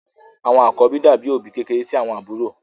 Àwọn àkọ́bí dàbí òbí kékeré sí àwọn àbúrò.